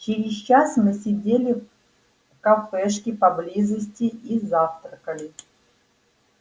через час мы сидели в кафешке поблизости и завтракали